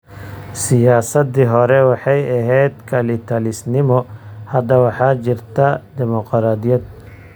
Siyaasaddii hore waxay ahayd kalitalisnimo. Hadda waxaa jirta dimoqraadiyad.